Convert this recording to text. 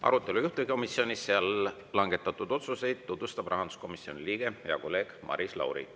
Arutelu juhtivkomisjonis ja seal langetatud otsuseid tutvustab rahanduskomisjoni liige, hea kolleeg Maris Lauri.